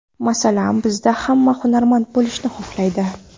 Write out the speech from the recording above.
Masalan, bizda hamma hunarmand bo‘lishni xohlaydi.